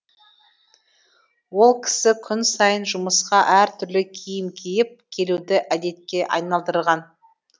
ол кісі күн сайын жұмысқа әртүрлі киім киіп келуді әдетке айналдырған